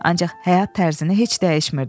Ancaq həyat tərzini heç dəyişmirdi.